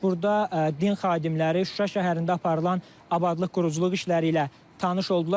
Burda din xadimləri Şuşa şəhərində aparılan abadlıq-quruculuq işləri ilə tanış oldular.